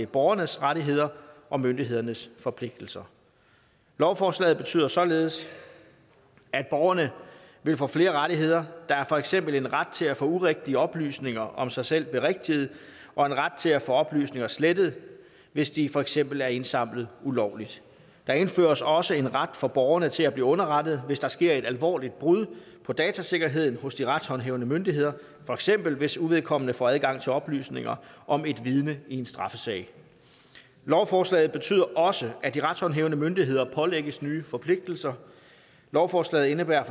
borgernes rettigheder og myndighedernes forpligtelser lovforslaget betyder således at borgerne får flere rettigheder der er for eksempel en ret til at få urigtige oplysninger om sig selv berigtiget og en ret til at få oplysninger slettet hvis de for eksempel er indsamlet ulovligt der indføres også en ret for borgerne til at blive underrettet hvis der sker et alvorligt brud på datasikkerheden hos de retshåndhævende myndigheder for eksempel hvis uvedkommende får adgang til oplysninger om et vidne i en straffesag lovforslaget betyder også at de retshåndhævende myndigheder pålægges nye forpligtelser lovforslaget indebærer